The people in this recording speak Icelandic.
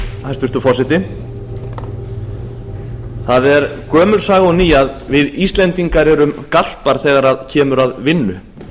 hæstvirtur forseti það er gömul saga og ný að við íslendingar erum garpar þegar kemur að vinnu